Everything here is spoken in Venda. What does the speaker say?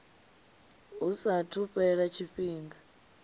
hu saathu u fhela tshifhinga